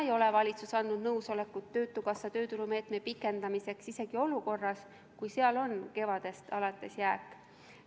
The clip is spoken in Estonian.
Valitsus ei ole andnud nõusolekut töötukassa tööturumeetme pikendamiseks isegi olukorras, kus seal on kevadest alates jääk.